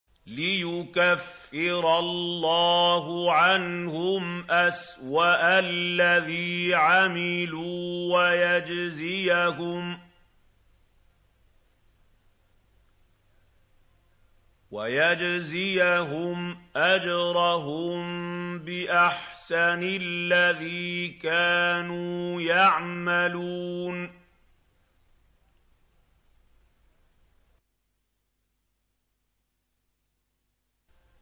لِيُكَفِّرَ اللَّهُ عَنْهُمْ أَسْوَأَ الَّذِي عَمِلُوا وَيَجْزِيَهُمْ أَجْرَهُم بِأَحْسَنِ الَّذِي كَانُوا يَعْمَلُونَ